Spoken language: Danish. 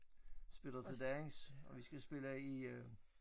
Spiller til dans og vi skal spille i øh